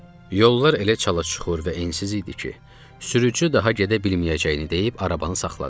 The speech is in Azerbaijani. Yollar elə çala-çuxur və ensiz idi ki, sürücü daha gedə bilməyəcəyini deyib arabanı saxladı.